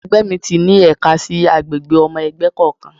Ẹgbẹ́ mi ti ní ẹ̀ka sí àgbègbè ọmọ ẹgbẹ́ kọ̀ọ̀kan.